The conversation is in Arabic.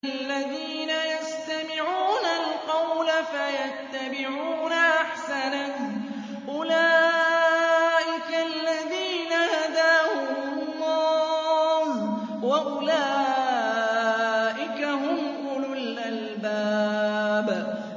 الَّذِينَ يَسْتَمِعُونَ الْقَوْلَ فَيَتَّبِعُونَ أَحْسَنَهُ ۚ أُولَٰئِكَ الَّذِينَ هَدَاهُمُ اللَّهُ ۖ وَأُولَٰئِكَ هُمْ أُولُو الْأَلْبَابِ